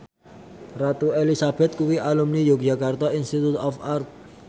Ratu Elizabeth kuwi alumni Yogyakarta Institute of Art